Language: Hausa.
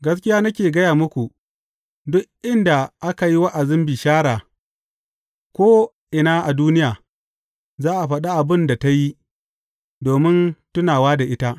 Gaskiya nake gaya muku, duk inda aka yi wa’azin bishara ko’ina a duniya, za a faɗi abin da ta yi, domin tunawa da ita.